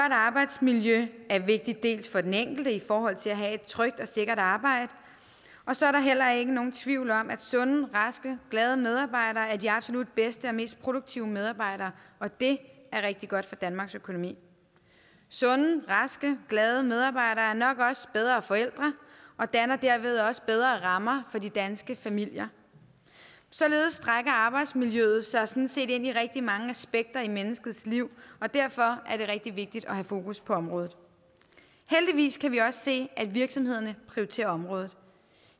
arbejdsmiljø er vigtigt både for den enkelte i forhold til at have et trygt og sikkert arbejde og så er der heller ikke nogen tvivl om at sunde raske og glade medarbejdere er de absolut bedste og mest produktive medarbejdere og det er rigtig godt for danmarks økonomi sunde raske og glade medarbejdere er nok også bedre forældre og danner derved også bedre rammer for de danske familier således strækker arbejdsmiljøet sig sådan set ind over rigtig mange aspekter i menneskets liv og derfor er det rigtig vigtigt at have fokus på området heldigvis kan vi også se at virksomhederne prioriterer området